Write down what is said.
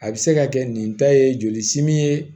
A bɛ se ka kɛ nin ta ye joli simi ye